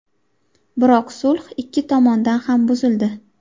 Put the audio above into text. Biroq sulh ikki tomondan ham buzildi.